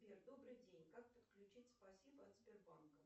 сбер добрый день как подключить спасибо от сбербанка